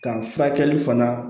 Ka furakɛli fana